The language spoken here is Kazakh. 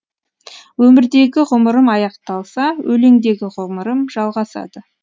өмірдегі ғұмырым аяқталса өлеңдегі ғұмырым жалғасады